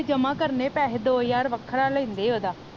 ਜਮਾ ਕਰਨੇ ਪੈਸੇ ਦੋ ਹਜ਼ਾਰ ਵੱਖਰਾ ਲੈਂਦੇ ਓਹਦਾ